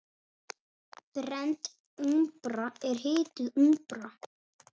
Brennd úmbra er hituð úmbra.